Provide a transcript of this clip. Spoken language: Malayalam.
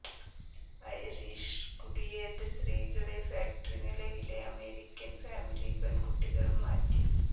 ഐറിഷ് കുടിയേറ്റ സ്ത്രീകളെ ഫാക്ടറി നിലയിലെ അമേരിക്കൻ ഫാമിലി പെൺകുട്ടികൾ മാറ്റി